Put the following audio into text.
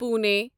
Pune